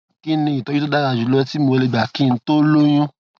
kí ni ìtójú tó dára jù lọ tí mo lè gbà kí n tó lóyún